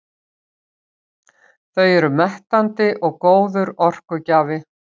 Þau eru mettandi og góður orkugjafi.